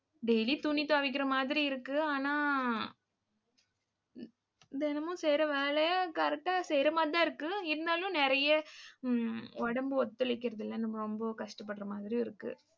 daily துணி துவைக்கிற மாதிரி இருக்கு. ஆனா தினமும் செய்யற வேலை correct ஆ செய்யற மாதிரிதான் இருக்கு. இருந்தாலும் நிறைய உம் உடம்பு ஒத்துழைக்கறதில்லை. நம்ம ரொம்ப கஷ்டப்படற மாதிரியும் இருக்கு.